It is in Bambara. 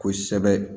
Kosɛbɛ